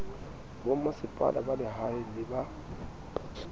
bomasepala ba lehae le ba